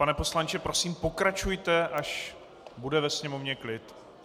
Pane poslanče, prosím pokračujte, až bude ve sněmovně klid.